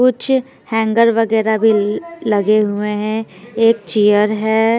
कुछ हैंगर वगैरह भी लगे हुए हैं एक चेयर है।